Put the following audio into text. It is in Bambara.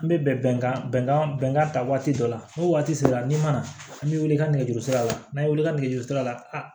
An bɛ bɛnkan bɛnkan bɛnkan ta waati dɔ la ni waati sera n'i ma na an bɛ wili ka nɛgɛjurusira la n'an ye welekanjuru sira la